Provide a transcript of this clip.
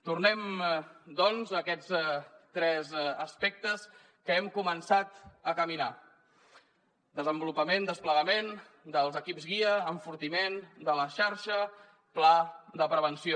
tornem doncs a aquests tres aspectes en què hem començat a caminar desenvolupament desplegament dels equips guia enfortiment de la xarxa pla de prevenció